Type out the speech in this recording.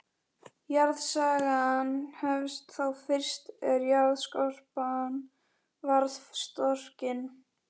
Jarðsagan hefst þá fyrst er jarðskorpan varð storkin.